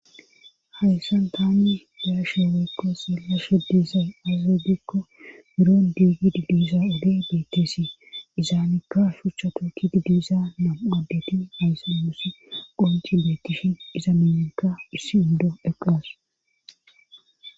Hayssan taani daasheeweykko seelasho diizaya aze gidikko biro diigididiisa odi bettisi izaamikka shuchato kididiisa nam adeti hayssa mussi qonci bettishin iza minekka issi indo eqqas